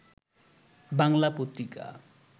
Bangla Patrika